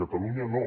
catalunya no